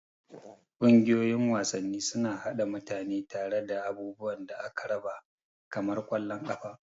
Ƙungiyoyin wasanni suna haɗa mutane tare da abubuwan da aka raba kamar ƙwallon ƙafa.